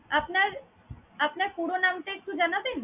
আপনার, আপনার পুরো নামটা একটু জানাবেন?